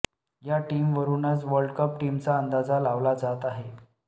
या टीमवरूनच world cup टीमचा अंदाजा लावला जात आहे